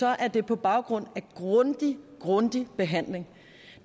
er det på baggrund af grundig grundig behandling